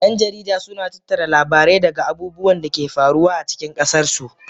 Yan jarida suna tattara labarai daga abubuwan da ke faruwa a cikin ƙasarsu